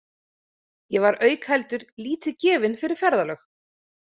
Ég var auk heldur lítið gefinn fyrir ferðalög.